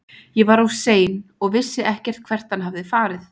Ég var of sein og vissi ekkert hvert hann hafði farið.